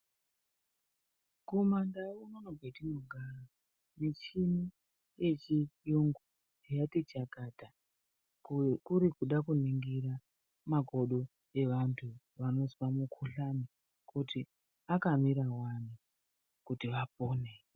Kumandau unono kwetinogara michini yechiyungu yatichakata kuri kuda kuningira makodo evantu vanozwa mukhuhlani kuti akamira wani kuti vapone.